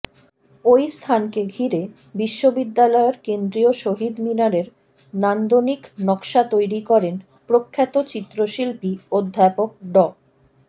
ওই স্থানকে ঘিরে বিশ্ববিদ্যালয়ের কেন্দ্রীয় শহীদ মিনারের নান্দনিক নকশা তৈরি করেন প্রখ্যাত চিত্রশিল্পী অধ্যাপক ড